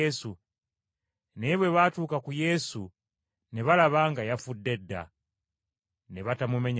Naye bwe batuuka ku Yesu ne balaba nga yafudde dda, ne batamumenya magulu.